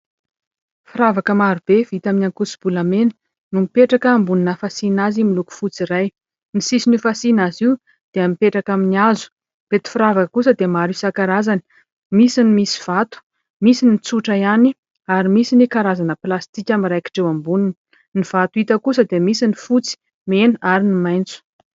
Firavaka maro be vita amin'ny ankoso-bolamena mipetraka ambonina fasiana azy miloko fotsy iray. Ny sisin'io fasiana azy io dia mipetraka amin'ny hazo. Ireto firavaka kosa dia maro isan-karazany misy ny misy vato, misy ny tsotra ihany ary misy ny karazana plastika miraikitra eo amboniny. Ny vato hita kosa dia misy ny fotsy, mena ary ny maitso